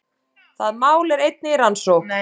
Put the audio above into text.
Það mál er einnig í rannsókn